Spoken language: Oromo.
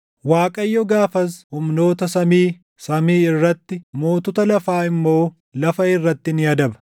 Waaqayyo gaafas humnoota samii, samii irratti, mootota lafaa immoo lafa irratti ni adaba.